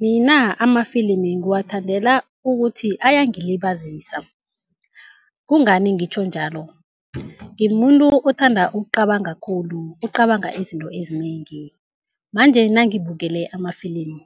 Mina amafilimi ngiwathandela ukuthi ayangilibazisa, kungani ngitjho njalo. Ngimuntu othanda ukucabanga khulu, ocabanga izinto ezinengi manje nangibukele amafilimu